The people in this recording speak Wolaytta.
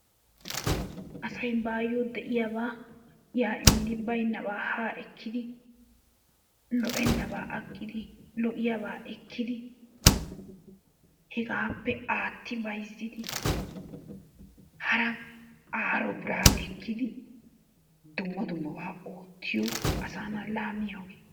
Asay baayoo de'iyaabaa yaa immidi baynabaa haa ekkidi lo'ennabaa agidi lo'iyaabaa ekkidi hegaappe aatti bayzzidi hara aaro biraa ekkidi dumma dummabaa oottiyo asaanaa laamiyoogee.